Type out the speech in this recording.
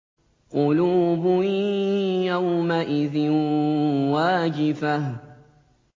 قُلُوبٌ يَوْمَئِذٍ وَاجِفَةٌ